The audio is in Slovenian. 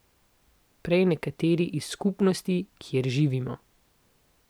Prej nekateri iz skupnosti, kjer živimo.